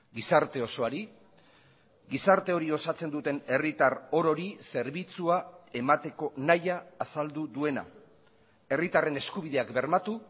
gizarte osoari gizarte hori osatzen duten herritar orori zerbitzua emateko nahia azaldu duena herritarren eskubideak bermatu